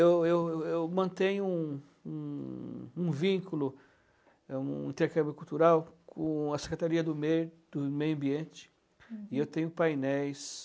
Eu eu eu mantenho um im um vínculo, um intercâmbio cultural com a Secretaria do Meio do Meio Ambiente e eu tenho painéis.